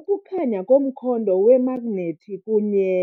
Ukukhanya komkhondo wemagnethi kunye.